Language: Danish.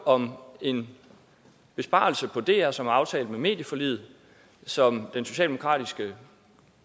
om en besparelse på dr som er aftalt med medieforliget og som den socialdemokratiske